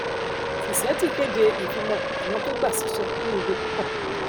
tizeti kéde ìfilọpọ àwọn tó gba síṣẹ ní ibi púpọ